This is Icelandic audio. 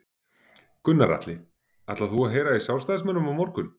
Gunnar Atli: Ætlar þú að heyra í sjálfstæðismönnum á morgun?